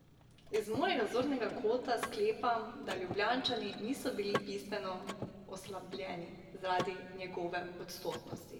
Iz mojega zornega kota sklepam, da Ljubljančani niso bili bistveno oslabljeni zaradi njegove odsotnosti.